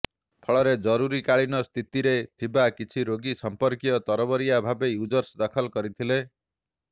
ଫଳରେ ଜରୁରିକାଳୀନସ୍ଥିତିରେ ଥିବା କିଛି ରୋଗୀ ସମ୍ପର୍କୀୟ ତରବରିଆ ଭାବେ ୟୁଜର୍ସ ଦାଖଲ କରିଥିଲେ